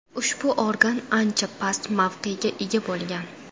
Ushbu organ ancha past mavqega ega bo‘lgan.